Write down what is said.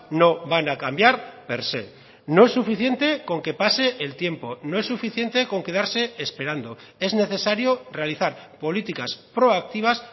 no van a cambiar per sé no es suficiente con que pase el tiempo no es suficiente con quedarse esperando es necesario realizar políticas proactivas